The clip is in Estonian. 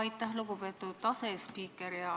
Aitäh, lugupeetud asespiiker!